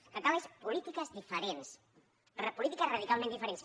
el que cal és polítiques diferents polítiques radicalment diferents